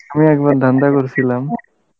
হ্যাঁ একবার ধান্দা করেছিলাম